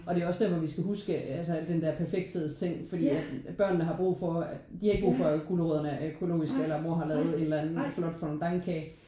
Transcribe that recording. Og det er også derfor vi skal huske altså al den der perfekthedsting fordi at børnene har brug for de har ikke brug for at gulerødderne er økologisk eller at mor har lavet en eller anden flot fondantkage